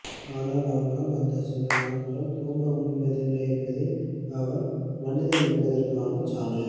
ஆனால் அவனால் அந்தச்சிலநாள் தூங்கமுடிவதில்லை என்பதே அவன் மனிதன் என்பதற்கான சான்று